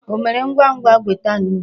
O mere ngwa ngwa weta nnu.